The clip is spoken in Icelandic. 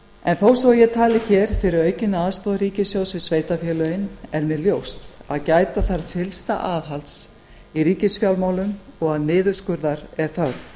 en þó svo að ég tali hér fyrir aukinni aðstoð ríkissjóðs við sveitarfélögin er mér ljóst að gæta þarf fyllsta aðhalds í ríkisfjármálum og að niðurskurðar er þörf